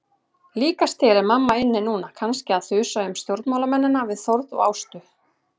Líkast til er mamma inni núna, kannski að þusa um stjórnmálamennina við Þórð og Ástu.